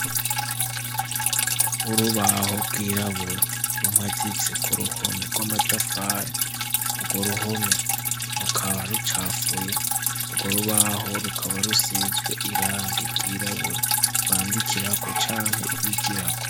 Urubaho rwirabura rumaditse ku ruhome rw'amatafari; urwo ruhome rukaba rucafuye urwo rubaho rukaba rusizwe irangi ryirabura bandikirako canke bigirako.